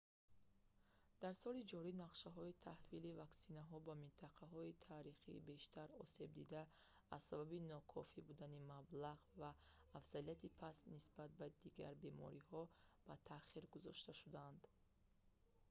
дар соли ҷорӣ нақшаҳои таҳвили ваксинаҳо ба минтақаҳои таърихии бештар осебдида аз сабаби нокофӣ будани маблағ ва афзалияти паст нисбат ба дигар бемориҳо ба таъхир гузошта шуданд